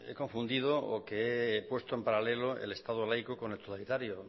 confundido o que he puesto en paralelo el estado laico con el totalitario